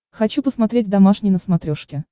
хочу посмотреть домашний на смотрешке